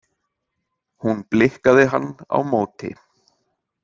Hún blikkaði hann á móti.